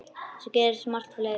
Svo gerist margt fleira.